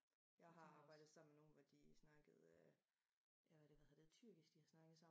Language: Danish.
Jeg har arbejdet sammen med nogen hvor de snakkede øh ja har det været tyrkisk de har snakket sammen